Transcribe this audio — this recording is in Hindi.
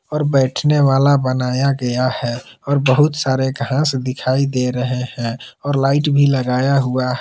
और बैठने वाला बनाया गया है और बहुत सारे घास दिखाई दे रहे हैं और लाइट भी लगाया हुआ--